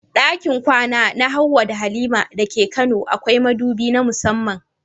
Dakin kwana na Hawwa da Halima dake kano akwai madubi na musamman.